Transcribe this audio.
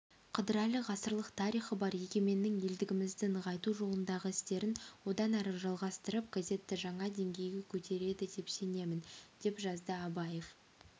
қыдырәлі ғасырлық тарихы бар егеменнің елдігімізді нығайту жолындағы істерін одан әрі жалғастырып газетті жаңа деңгейге көтереді деп сенемін деп жазды абаев